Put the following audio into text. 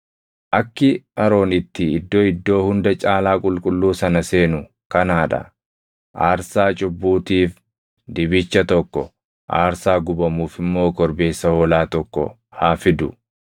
“Akki Aroon itti Iddoo Iddoo Hunda Caalaa qulqulluu sana seenu kanaa dha: Aarsaa cubbuutiif dibicha tokko, aarsaa gubamuuf immoo korbeessa hoolaa tokko haa fidu.